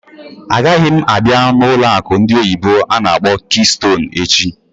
Agaghị m a bịa n'ụlọ akụ ndị oyibo n'akpọ "Keystone" echi!